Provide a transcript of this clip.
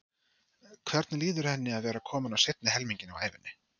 Hvernig líður henni að vera komin á seinni helminginn af ævinni?